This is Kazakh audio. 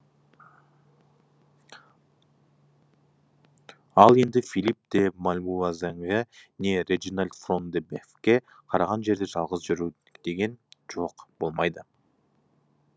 ал енді филипп де мальвуазенге не реджинальд фрон де бефке қараған жерде жалғыз жүру деген жоқ болмайды